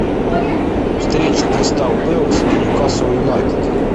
встреча кристал пэлас и ньюкасл юнайтед